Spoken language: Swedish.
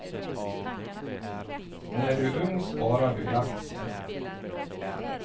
När du är ung sparar du i aktier.